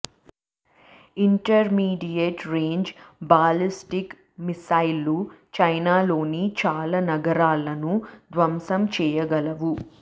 intermediate range ballistic మిసైళ్లు చైనాలోని చాలా నగరాలను ధ్వంసం చేయగలవు